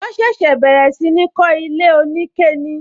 Wọn ṣẹ̀ṣẹ̀ bẹ̀rẹ̀ sí ní kó ilé onike ni